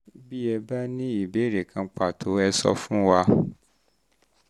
bí ẹ bá ní ìbéèrè kan pàtó um ẹ sọ um ẹ sọ um fún wa